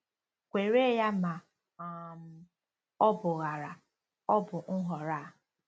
Kwere ya ma um ọ bụ ghara, ọ bụ Nhọrọ A.